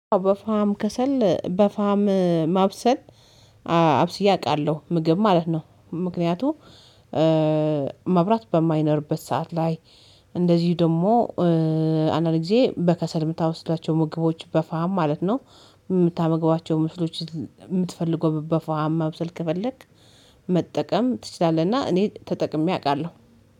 በፋም ከሰል በፋም ማብሰል አብስዬ አውቃለሁ ምግብ ማለት ነው። ምክንያቱ መብራት በማይኖርበት ሰዓት ላይ እንደዚሁ ደግሞ አንዳንድ ጊዜ በከሰል የምታበስሉዋቸው ምግቦች በፋም ማለት ነው። የምታመግቧቸው ምስሎች የምትፈልገው በፋም ማብሰል ከፈለክ መጠቀም ትችላለህ። እና እኔ ተጠቅሜ አውቃለሁ